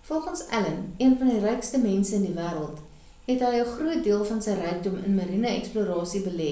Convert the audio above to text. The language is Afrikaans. volgens allen een van die rykste mense in die wêreld het 'n groot deel van sy rykdom in mariene eksplorasie belê